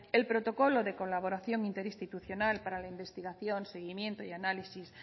el protocolo de colaboración interinstitucional para la investigación seguimiento y análisis